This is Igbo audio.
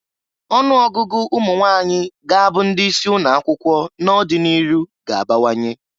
Ọnụ ọgụgụ ụmụnwanyị ga-abụ ndị isi ụnọ akwụkwọ n'ọdị n'iru ga-abawanye.